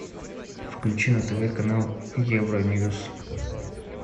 включи на тв канал евроньюс